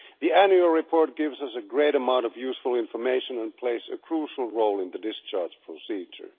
The annual report gives us a great amount of useful information and plays a crucial role in the discharge procedure.